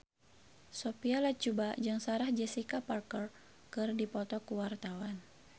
Sophia Latjuba jeung Sarah Jessica Parker keur dipoto ku wartawan